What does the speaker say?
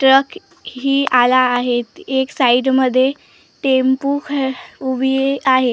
Track ही आला आहेत एक साईड मध्ये टेम्पो ह उभी आहे.